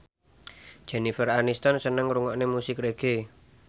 Jennifer Aniston seneng ngrungokne musik reggae